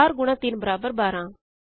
4 ਗੁਣਾ 3 ਬਰਾਬਰ 12